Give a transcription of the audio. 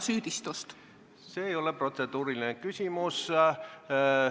See ei ole protseduuriline küsimus.